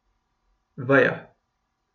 Veja.